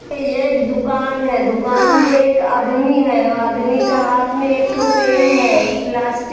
यह एक दुकान है दुकान पे एक आदमी है वह आदमी के हाथ में एक ठु पेन है प्लास्ट--